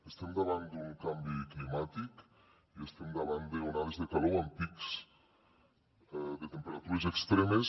estem davant d’un canvi climàtic i estem davant d’onades de calor amb pics de temperatures extremes